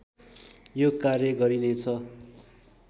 यो कार्य गरिनेछ